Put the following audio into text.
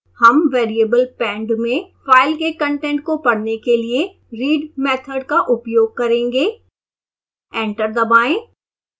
हम variable pend में file के कंटेंट को पढ़ने के लिए read method का उपयोग करेंगे एंटर दबाएं